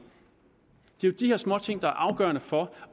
det er jo de her småting der er afgørende for